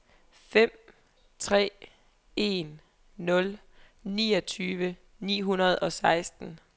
fem tre en nul niogtyve ni hundrede og seksten